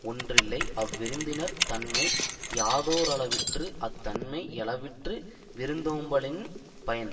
ஒன்றில்லை அவ்விருந்தினரின் தன்மை யாதோ ரளவிற்று அத்தன்மை யளவிற்று விருந்தோம்பலின் பயன்